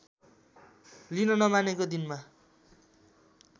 लिन नमानेको दिनमा